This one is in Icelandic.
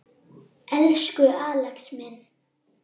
Elsku Axel minn.